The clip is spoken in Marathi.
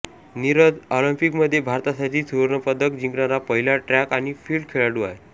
नीरज ऑलिम्पिकमध्ये भारतासाठी सुवर्णपदक जिंकणारा पहिला ट्रॅक आणि फील्ड खेळाडू आहे